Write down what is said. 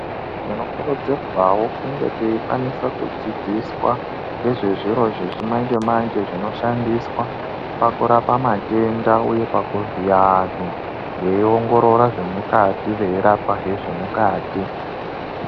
Tinokurudzirwawo kunge teikwanise kudzidziswa ngezvezviro zvechimanje manje zvinoshandiswa pakurapa matenda uye pakuvhiya antu veiongorora zvemukati veirapahe zvemukati.